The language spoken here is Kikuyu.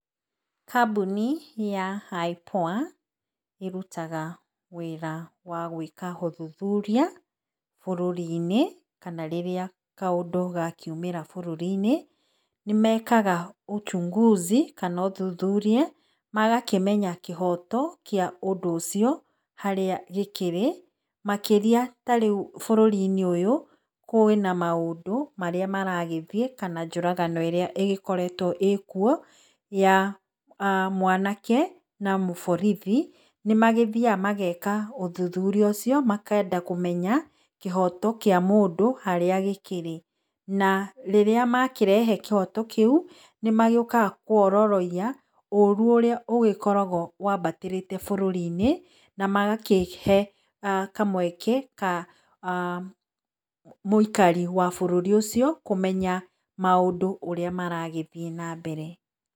Kambuni ya IPOA ĩrutaga wĩra wa gwĩka ũthuthuria bũrũri-inĩ kana rĩrĩa kaũndũ gakĩuĩra bũrũrũri-inĩ nĩmekaga uchunguzi kana ũthũthũria magakĩmenya kĩhoto kia ũndũ ũcio haríĩ gĩkírĩ makĩrĩa ta rĩu bũrũri-inĩ uyũ kwĩna maũndũ maríĩ maragĩthĩĩ kana njũraganao ĩrĩa ĩgĩkoretwo ĩkwo ya mwanake na mũborithi nĩmagĩthiaga mageka uthũthũrĩa ũcio makenda kũmenya kĩhoto kĩa múũdũ harĩa gíkĩrĩ na rĩrĩa makĩrehe kĩhoto kĩu nĩmagĩũkaga kuororohia ũũrũ ũrĩa wambatĩrĩte bũrũri-inĩ na magakĩhe kamweke ka mwĩkarĩ wa bũrũri ucio kũmenya maũndũ ũrĩa marathĩ na mbere.